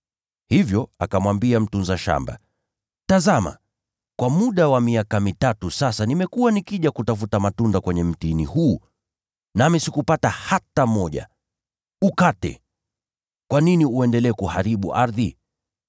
Hivyo akamwambia mtunza shamba: ‘Tazama, kwa muda wa miaka mitatu sasa nimekuwa nikija kutafuta matunda kwenye mtini huu, nami sikupata hata moja. Ukate! Kwa nini uendelee kuharibu ardhi?’